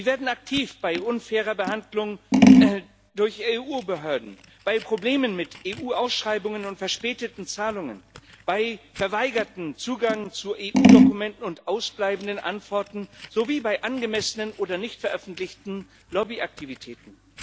Sie werden aktiv bei unfairer Behandlung durch EU Behörden, bei Problemen mit EU Ausschreibungen und verspäteten Zahlungen, bei verweigertem Zugang zu EU Dokumenten und ausbleibenden Antworten sowie bei angemessenen oder nicht veröffentlichten Lobbyaktivitäten.